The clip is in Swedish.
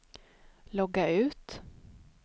logga ut